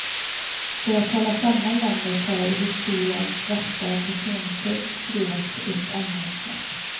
För att hålla samman landet har historiens värsta personkult skruvats upp ännu ett snäpp.